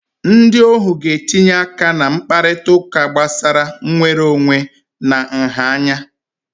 Ndị ohu ga-etinye aka na mkparịta ụka gbasara nnwere onwe na nha anya